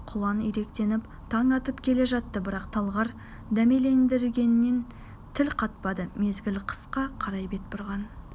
құлан иректеніп таң атып келе жатты бірақ талғар дәмелендіргенмен тіл қатпады мезгіл қысқа қарай бет бұрған